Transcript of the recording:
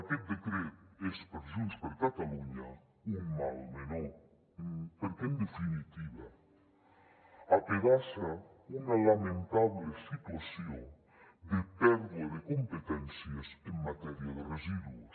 aquest decret és per junts per catalunya un mal menor perquè en definitiva apedaça una lamentable situació de pèrdua de competències en matèria de residus